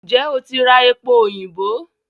N jẹ́ o ti ra epo òyìnbó?